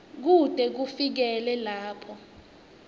kute kufikele lapho